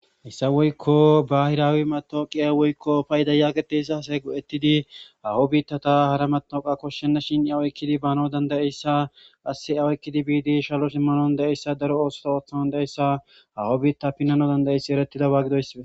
issa woykko bahiraawi matooqiya woykko payida yaageteyssa asay go7ettidi awo biittata hara maooqa koshshenna shin yawoykkidi baano dandayeyssa asse awoykkidi biidi shalo simmanon da7eyssa daro oosota ooththano da7eyssa hawo biitta pinnano dandayeyssi erettida baagidoyssibe